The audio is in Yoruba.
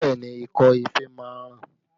Bẹẹ ni, ikọ́ ife máa ń ràn